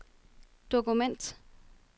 dokument